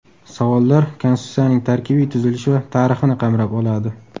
Savollar Konstitutsiyaning tarkibiy tuzilishi va tarixini qamrab oladi.